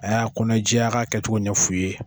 A y'a kɔnɔ jɛya a ka kɛcogo ɲɛfu ye.